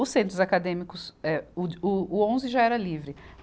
Os centros acadêmicos, eh, o de, o, o onze já era livre.